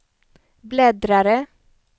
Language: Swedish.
bläddrare